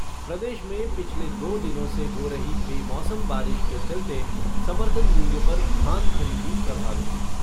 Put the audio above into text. प्रदेश में पिछले दो दिनों से हो रही बेमौसम बारिश के चलते समर्थन मूल्य पर धान खरीदी प्रभावित।